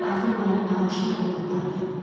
Gör axın məni ağuşuna alıb apardı.